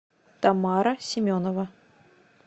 тамара семенова